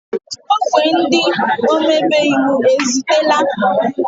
Ogwe ndị omebe iwu ezutela?